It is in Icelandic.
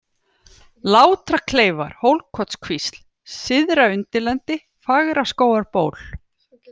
Látrakleifar, Hólkotskvísl, Syðraundirlendi, Fagraskógarból